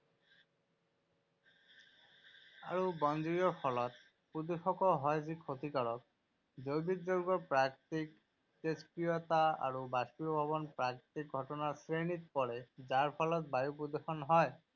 আৰু বনজুইৰ ফলত প্ৰদূষকও হয় যি ক্ষতিকাৰক। জৈৱিক যৌগৰ প্ৰাকৃতিক তেজস্ক্ৰিয়তা আৰু বাষ্পীভৱনও প্ৰাকৃতিক ঘটনাৰ শ্ৰেণীত পৰে যাৰ ফলত বায়ু প্ৰদূষণ হয়।